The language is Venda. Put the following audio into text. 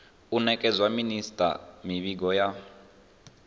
u nekedza minisita mivhigo ya